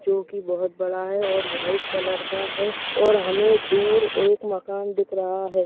चो की बहुत बड़ा है और व्हाइट कलर का है। और हमें दूर एक मकान दिख रहा है।